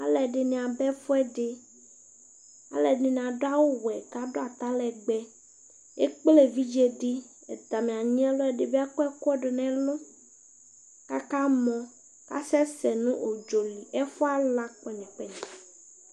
aloɛdini aba ɛfuɛdi aloɛdini ado awu wɛ k'ado atalɛgbɛ ekple evidze di atami anyi ɛlu ɛdi bi akɔ ɛkò do n'ɛlu aka mɔ asɛ sɛ no udzɔ li ɛfuɛ ala kpɛnyɛ kpɛnyɛ